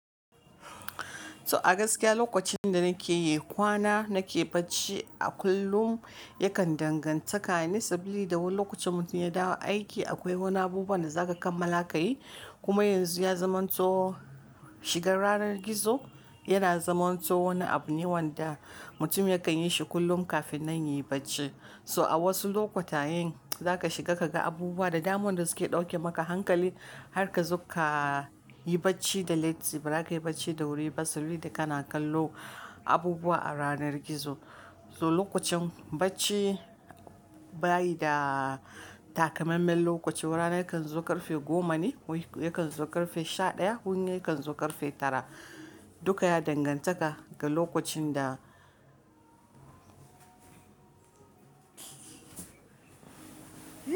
So a gaskiya lokacin da nake yi kwana nake bacci a kullum yakan danganta kane sabili da wani lokacin mutum ya dawo aiki akwai wani abubuwan da za ka kamala ka yi. Kuma yanzu ya zamanto shigar ranar gizo yana zamanto wani abu ne wanda mutum yakan yi shi kullum kafin nan yi bacci. So a wasu lokuta yin za ka shiga ka ga abubuwa da daman da suke ɗauke maka hankali har ka zo ka yi bacci da latti ba ra ka yi bacci da wuri ba saboda kana kallo abubuwa a ranar gizo. So lokacin bacci bayi da takamammen lokaci. Wani rana kan zo ƙarfe goma ne, wani yakan zo ƙarfe sha ɗaya, wani yakan zo ƙarfe tara. Dukka ya dangantaka ga lokacin da.